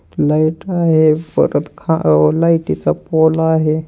Light आहे परत खा व लाइट चा पोल आहे.